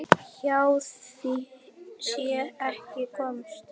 Hjá því sé ekki komist.